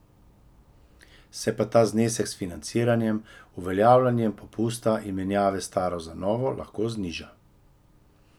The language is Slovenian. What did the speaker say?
Se pa ta znesek s financiranjem, uveljavljanjem popusta in menjave staro za novo lahko zniža.